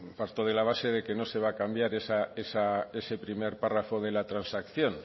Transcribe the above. parto de la base que no se va a cambiar ese primer párrafo de la transacción